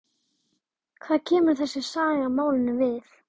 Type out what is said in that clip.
Hvað kemur þessi saga málinu við?